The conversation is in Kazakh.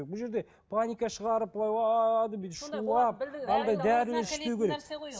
бұл жерде паника шығарып шулап анадай дәрілер ішпеу керек